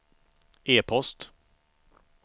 e-post